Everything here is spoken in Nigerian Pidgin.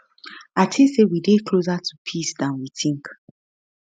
i tink say we dey closer to peace dan we tink